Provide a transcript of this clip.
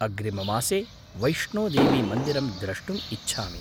अग्रिममासे वैष्णोदेवीमन्दिरं द्रष्टुम् इच्छामि।